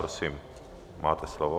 Prosím, máte slovo.